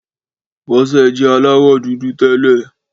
Bọ́sẹ̀ jẹ́ aláwọ̀ dúdú tẹ́lẹ̀